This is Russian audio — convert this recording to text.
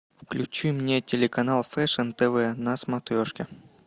включи мне телеканал фэшн тв на смотрешке